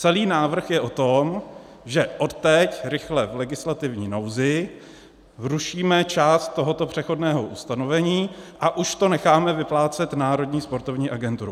Celý návrh je o tom, že odteď rychle v legislativní nouzi zrušíme část tohoto přechodného ustanovení a už to necháme vyplácet Národní sportovní agenturu.